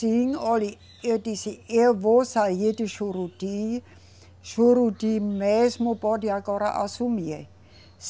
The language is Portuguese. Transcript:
Sim, olhe, eu disse, eu vou sair de Juruti, Juruti mesmo pode agora assumir.